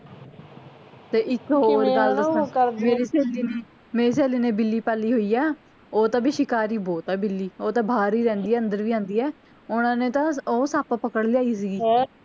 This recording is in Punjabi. ਤੇ ਇੱਕ ਹੋਰ ਗੱਲ ਦੱਸਾਂ ਮੇਰੀ ਸਹੇਲੀ ਨੇ ਮੇਰੀ ਸਹੇਲੀ ਨੇ ਬਿੱਲੀ ਪਾਲੀ ਹੋਇ ਆ ਉਹ ਤਾਂ ਬਈ ਸ਼ਿਕਾਰੀ ਬਹੁਤ ਆ ਬਿੱਲੀ ਓਹ ਤਾਂ ਬਾਹਰ ਹੀ ਰਹਿੰਦੀ ਆ ਅੰਦਰ ਵੀ ਆਂਦੀ ਆ ਓਹਨਾ ਨੇ ਤਾਂ ਉਹ ਤਾਂ ਸੱਪ ਪਕੜ ਲਿਆਈ ਸੀਗੀ